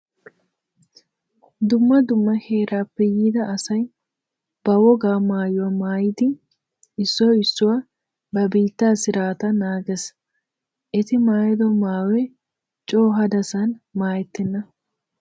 Dumma dumma heeraappe yiida asay ba wogaa maayuwa mayidi issoy issoy ba biittaa sirataa naagees. Eti maayido maayoy coo hadasan maayettenna.